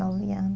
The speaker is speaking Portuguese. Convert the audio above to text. Nove